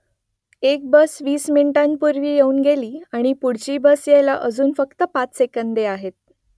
एक बस वीस मिनिटांपूर्वी येऊन गेली आणि पुढची बस यायला अजून फक्त पाच सेकंदे आहेत